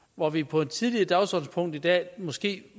hvor vi på et tidligere dagsordenspunkt i dag måske